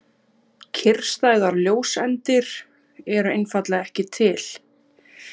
Kyrrstæðar ljóseindir eru einfaldlega ekki til.